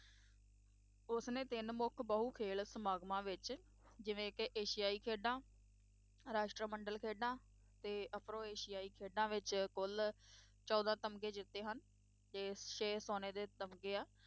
ਉਸਨੇ ਤਿੰਨ ਮੁੱਖ ਬਹੁ-ਖੇਲ ਸਮਾਗਮਾਂ ਵਿੱਚ ਜਿਵੇਂ ਕਿ ਏਸ਼ੀਆਈ ਖੇਡਾਂ, ਰਾਸ਼ਟਰਮੰਡਲ ਖੇਡਾਂ ਅਤੇ ਅਫਰੋ-ਏਸ਼ੀਆਈ ਖੇਡਾਂ ਵਿੱਚ ਕੁੱਲ ਚੋਦਾਂ ਤਮਗੇ ਜਿੱਤੇ ਹਨ ਤੇ ਛੇ ਸੋਨੇ ਦੇ ਤਮਗੇ ਆ।